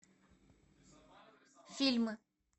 фильмы